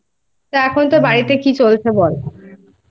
এখন তোর বাড়িতে কি চলছে বল?